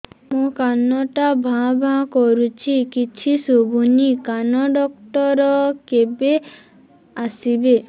ମୋ କାନ ଟା ଭାଁ ଭାଁ କରୁଛି କିଛି ଶୁଭୁନି କାନ ଡକ୍ଟର କେବେ ଆସିବେ